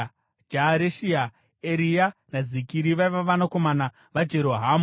Jaareshia, Eria, naZikiri vaiva vanakomana vaJerohamu.